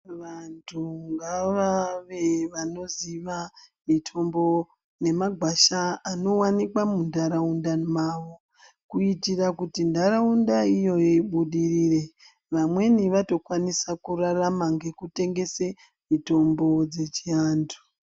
Vantu ngavave vanoziva mitombo nemagwasha anowanikwa muntaraunda mwawo, kuitira kuti ntaraunda iyoyo ibudirire, vamweni vatokwanisa kurarama ngekutengese mitombo dzechiantu.